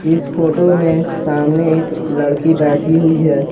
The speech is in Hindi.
इस फोटो में सामने एक लड़की बैठी हुई है।